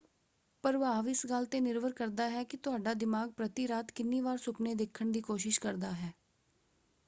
ਪ੍ਰਭਾਵ ਇਸ ਗੱਲ ‘ਤੇ ਨਿਰਭਰ ਕਰਦਾ ਹੈ ਕਿ ਤੁਹਾਡਾ ਦਿਮਾਗ ਪ੍ਰਤੀ ਰਾਤ ਕਿੰਨੀ ਵਾਰ ਸੁਪਨੇ ਦੇੇਖਣ ਦੀ ਕੋਸ਼ਿਸ਼ ਕਰਦਾ ਹੈ।